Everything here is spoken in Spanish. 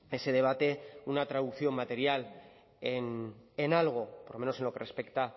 ese debate una traducción material en algo por lo menos en lo que respecta